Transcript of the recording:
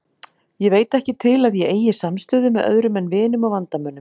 Ég veit ekki til að ég eigi samstöðu með öðrum en vinum og vandamönnum.